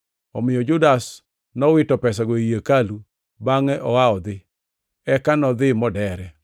Omiyo Judas nowito pesago ei hekalu bangʼe oa odhi. Eka nodhi modere.